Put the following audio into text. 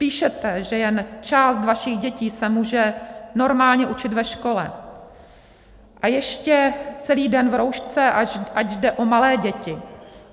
Píšete, že jen část vašich dětí se může normálně učit ve škole, a ještě celý den v roušce, ač jde o malé děti.